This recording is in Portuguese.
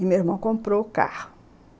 E meu irmão comprou o carro.